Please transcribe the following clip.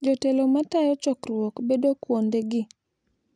Jotelo ma tayo chokruok bedo kuondegi.